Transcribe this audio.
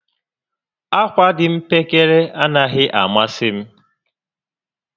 Akwa dị mpekere anaghị amasị